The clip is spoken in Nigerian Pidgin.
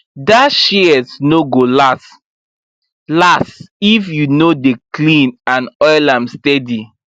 that shears no go last last if you no dey clean and oil am steady